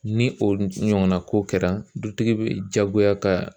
Ni o ɲɔgɔnna ko kɛra , dutigi bɛ jagoya ka